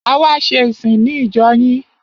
A wá ṣe ìsìn ní ìjọ yín.